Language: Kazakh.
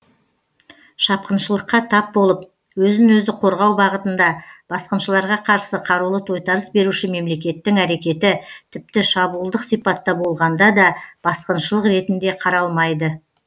шапқыншылыққа тап болып өзін өзі қорғау бағытында басқыншыларға қарсы қарулы тойтарыс беруші мемлекеттің әрекеті тіпті шабуылдық сипатта болғанда да басқыншылық ретінде қаралмайды